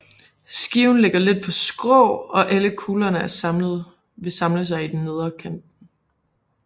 Skiven ligger lidt på skrå og alle kuglerne vil samle sig i den nedre kanten